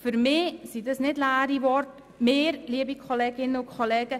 Für mich sind das keine leeren Worte.